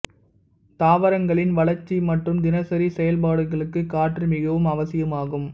தாவரங்களின் வளர்ச்சி மற்றும் தினசரி செயல்பாடுகளுக்கு காற்று மிகவும் அவசியாகும்